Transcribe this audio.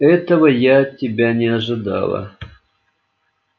этого я от тебя не ожидала